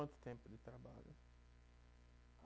Quanto tempo de trabalho?